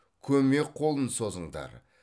көмек қолын созыңдар